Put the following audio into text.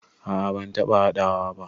A'a ban taɓa haɗawa ba.